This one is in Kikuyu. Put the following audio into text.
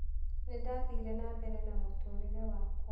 Nĩ ndathire na mbere na mũtũũrĩre wakwa.